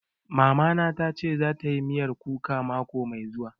Mama na ta ce za ta yi miyar kuka mako mai zuwa